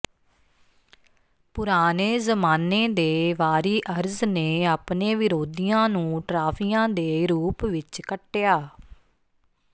ਪੁਰਾਣੇ ਜ਼ਮਾਨੇ ਦੇ ਵਾਰੀਅਰਜ਼ ਨੇ ਆਪਣੇ ਵਿਰੋਧੀਆਂ ਨੂੰ ਟਰਾਫੀਆਂ ਦੇ ਰੂਪ ਵਿਚ ਕੱਟਿਆ